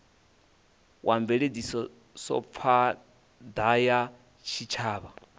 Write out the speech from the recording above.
wa mveledzisophan ḓa ya tshitshavha